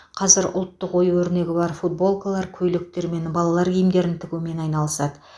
қазір ұлттық ою өрнегі бар футболкалар көйлектер мен балалар киімдерін тігумен айналысады